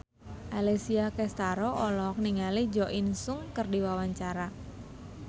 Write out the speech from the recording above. Alessia Cestaro olohok ningali Jo In Sung keur diwawancara